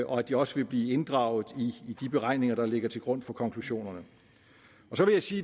og at de også vil blive inddraget i de beregninger der ligger til grund for konklusionerne så vil jeg sige